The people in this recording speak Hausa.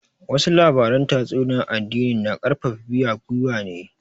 Wasu labaran tatsuniyar addini na karfafa biya gwiwa ne